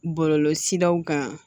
Bɔlɔlɔsiraw kan